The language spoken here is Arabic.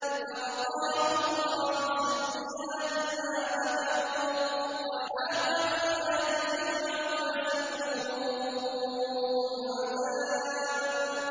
فَوَقَاهُ اللَّهُ سَيِّئَاتِ مَا مَكَرُوا ۖ وَحَاقَ بِآلِ فِرْعَوْنَ سُوءُ الْعَذَابِ